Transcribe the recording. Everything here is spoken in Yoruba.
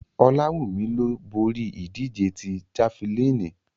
Olawumi lo bori idije ti Jafilini